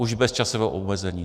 Už bez časového omezení.